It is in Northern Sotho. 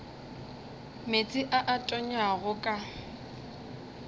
meetse a a tonyago ka